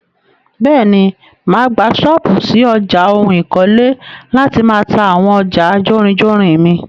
Bẹ́ẹ̀ni, máa gbà ṣọ́pù ṣí ọjà oun ikole láti máà ta àwọn ọjà jórinjórin mi.